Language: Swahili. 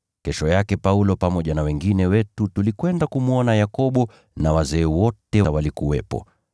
Kesho yake Paulo pamoja na wengine wetu tulikwenda kumwona Yakobo, na wazee wote walikuwepo.